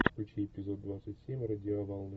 включи эпизод двадцать семь радиоволны